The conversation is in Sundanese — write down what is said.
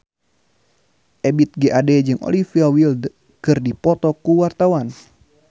Ebith G. Ade jeung Olivia Wilde keur dipoto ku wartawan